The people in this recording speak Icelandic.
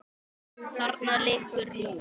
Þarna liggur nú